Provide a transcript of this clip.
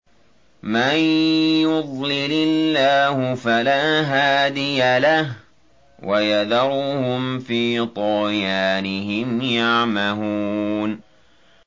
مَن يُضْلِلِ اللَّهُ فَلَا هَادِيَ لَهُ ۚ وَيَذَرُهُمْ فِي طُغْيَانِهِمْ يَعْمَهُونَ